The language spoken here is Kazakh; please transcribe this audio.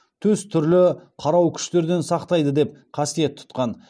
төс түрлі қарау күштерден сақтайды деп қасиет тұтқан